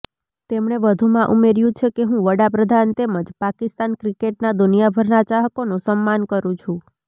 તેમણે વધુમાં ઉમેર્યું કે હું વડાપ્રધાન તેમજ પાકિસ્તાન ક્રિકેટના દુનિયાભરના ચાહકોનું સમ્માન કરું છું